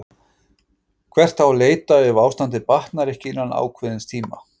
Hvert á að leita ef ástandið batnar ekki innan ákveðins tíma?